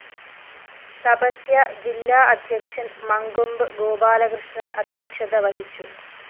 തപസ്യ ജില്ലാ അധ്യക്ഷന്‍ മങ്കൊമ്പ് ഗോപാലകൃഷ്ണന്‍ അധ്യക്ഷത വഹിച്ചു